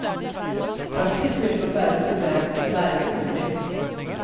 Praktisk vil det nok være et problem, men det er ikke umulig.